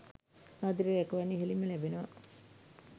ආදරය රැකවරණය ඉහළින්ම ලැබෙනවා.